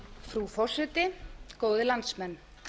frú forseti góðir landsmenn